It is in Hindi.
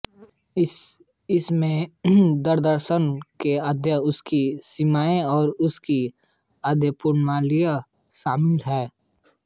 इसमें दर्शनशास्त्र के ध्येय उसकी सीमाएँ और उसकी अध्ययनप्रणालियाँ शामिल हैं